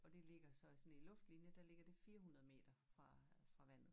Og det ligger så sådan i luftlinje der ligger det 400 meter fra vandet